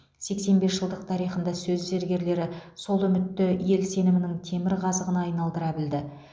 сексен бес жылдық тарихында сөз зергерлері сол үмітті ел сенімінің темір қазығына айналдыра білді